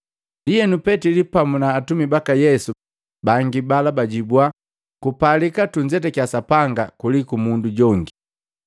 Ndienu Petili pamu na atumi baka Yesu bangi bala bajibua, “Kupalika tunzetakia Sapanga, kuliku mundu jongi.